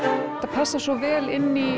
passar svo vel inn í